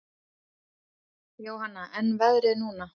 Jóhanna: En veðrið núna?